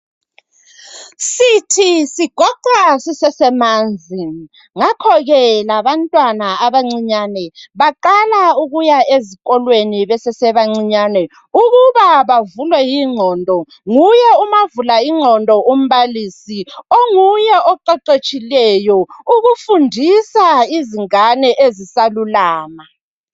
Sithi sigoqwa sisesemanzi ngakho ke labantwana abancinyane baqala ukuya ezikolweni besesebacinyane ukuba bavuleke inqondo nguye umavula inqondo umbalisi onguye oqheqhetshileyo ukufundisa izingane ezisalulama.